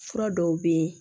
Fura dɔw bɛ yen